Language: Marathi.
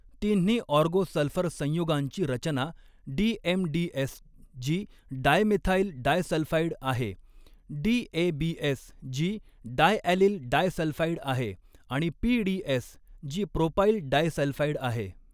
तिन्ही ऑर्गो सल्फर संयुगांची रचना डीएमडीएस जी डायमेथाइल डायसल्फाइड आहे, डीएबीएस जी डायॲलील डायसल्फाइड आहे आणि पीडीएस जी प्रोपाइल डायसल्फाइड आहे.